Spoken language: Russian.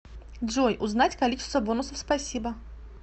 джой узнать количество бонусов спасибо